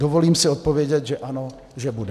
Dovolím si odpovědět, že ano, že bude.